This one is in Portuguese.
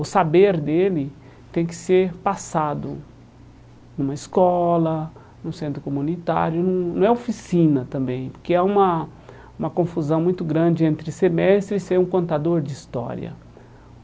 o saber dele tem que ser passado em uma escola, no centro comunitário, não não é oficina também, porque é uma uma confusão muito grande entre ser mestre e ser um contador de história.